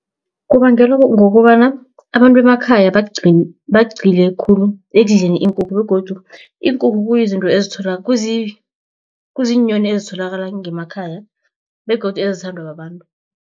Kubangelwa ngokobana abantu bemakhaya bagcile khulu ekudleni iinkukhu begodu iinkukhu kuyizinto, kuziinyoni ezitholakala ngemakhaya begodu ezithandwa babantu.